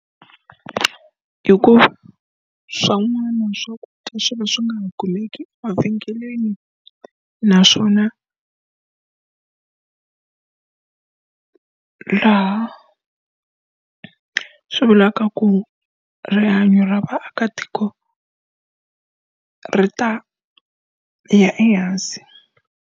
Hikuva swin'wana swakudya swi va swi nga ha kumeki mavhengeleni naswona laha swi vulaka ku rihanyo ra vaakatiko ri ta ya ehansi.